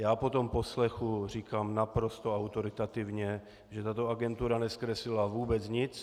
Já po tom poslechu říkám naprosto autoritativně, že tato agentura nezkreslila vůbec nic.